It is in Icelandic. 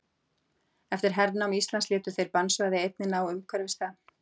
eftir hernám íslands létu þeir bannsvæði einnig ná umhverfis það